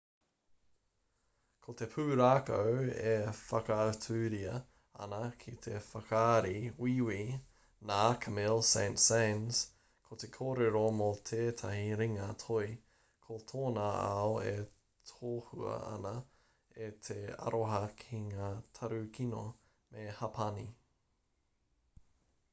ko te pūrākau e whakaaturia ana ki te whakaari wīwī nā camille saint-saens ko te kōrero mō tētahi ringa toi ko tōna ao e tohua ana e te aroha ki ngā tarukino me hapani